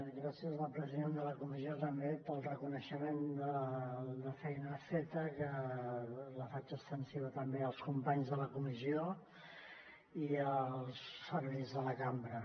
gràcies al president de la comissió també pel reconeixement de la feina feta que la faig extensiva també als companys de la comissió i als serveis de la cambra